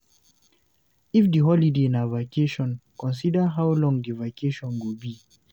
If di holiday na vacation, consider how long di vacation go be